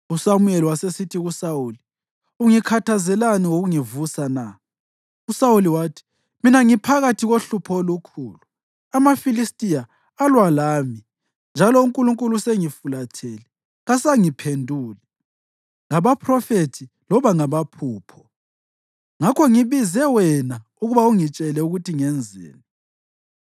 USamuyeli wasesithi kuSawuli, “Ungikhathazelani ngokungivusa na?” USawuli wathi, “Mina ngiphakathi kohlupho olukhulu. AmaFilistiya alwa lami, njalo uNkulunkulu usengifulathele. Kasangiphenduli, ngabaphrofethi loba ngamaphupho. Ngakho ngibize wena ukuba ungitshele ukuthi ngenzeni.”